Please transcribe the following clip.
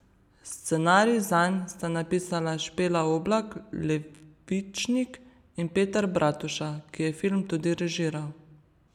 Scenarij zanj sta napisala Špela Oblak Levičnik in Peter Bratuša, ki je film tudi režiral.